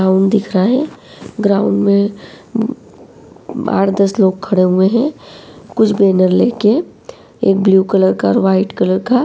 ground दिख रहा है ग्राउन्ड में बाहर दस लोग खड़े हुये है कुछ बैनर लेके एक ब्लू कलर का और वाईट कलर का --